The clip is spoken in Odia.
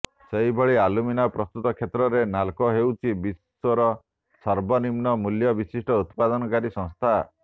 ସେହିଭଳି ଆଲୁମିନା ପ୍ରସ୍ତୁତ କ୍ଷେତ୍ରରେ ନାଲ୍କୋ ହେଉଛି ବିଶ୍ୱର ସର୍ବନିମ୍ନ ମୂଲ୍ୟ ବିଶିଷ୍ଟ ଉତ୍ପାଦନକାରୀ ସଂସ୍ଥା